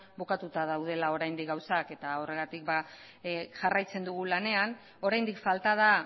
bukatuta daudela oraindik gauzak eta horregatik jarraitzen dugu lanean oraindik falta da